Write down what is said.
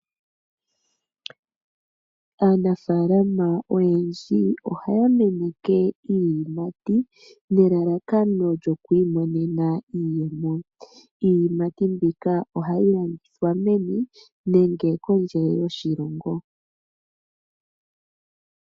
Aanafaalama oyendji ohaya meneke iiyimati nelalakano lyoku imonena iiyemo. Iiyimati mbika ohayi landithwa meni nenge kondje yoshilongo.